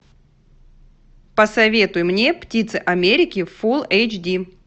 посоветуй мне птица америки фул эйч ди